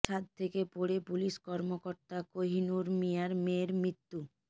ছাদ থেকে পড়ে পুলিশ কর্মকর্তা কোহিনুর মিয়ার মেয়ের মৃত্যু